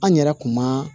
An yɛrɛ kun ma